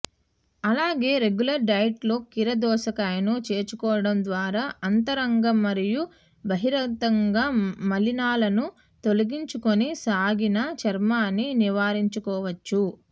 అలాగే regular diet లో కీరదోసకాయను చేర్చుకోవడం ద్వారా అంతర్గతంగా మరియు బహిర్గతంగా మలినాలను తొలగించుకొని సాగిన చర్మాన్ని నివారించుకోవచ్చు